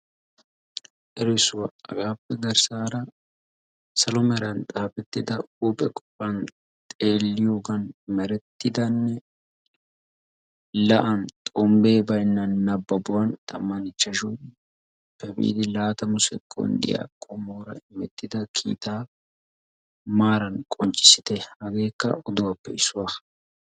Erissuwaa hagaappe garssaara salo meeran xaafettida huuphe qofaa xeelliyoogan merettidanne la'aan xombbee baynna nababuwaan tammanne ichchashshappe laatamu sekonddiyaa gakkanawu qommoora immettida kiitaa maaran qonccisite hageekka oduwaappe issuwaa.